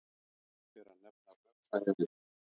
Fyrst ber að nefna rökfræðiritin.